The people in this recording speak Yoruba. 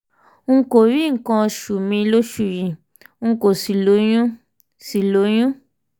n kò rí nǹkan oṣù mi lóṣù yìí n kò sì lóyún sì lóyún